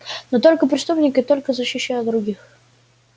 но только преступника и только защищая других